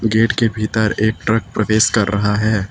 Gate के भीतर एक ट्रक प्रवेश कर रहा हैं।